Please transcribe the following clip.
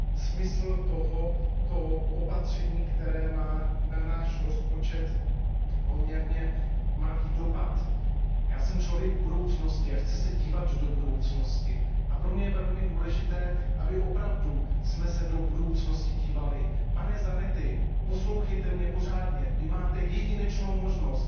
smysl tohoto opatření, které má na náš rozpočet poměrně malý dopad. Já jsem člověk budoucnosti a chci se dívat do budoucnosti a pro mě je velmi důležité, abychom se opravdu do budoucnosti dívali. Pane Zanetti, poslouchejte mě pořádně, Vy teď máte jedinečnou možnost